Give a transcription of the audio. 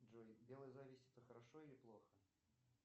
джой белая зависть это хорошо или плохо